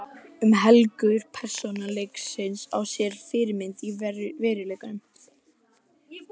Um helmingur persóna leiksins á sér fyrirmynd í veruleikanum.